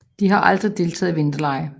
De har aldrig deltaget i vinterlege